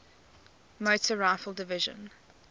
motor rifle division